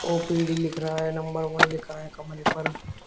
OPD लिख रहा है नंबर वन लिखा है कमरे पर।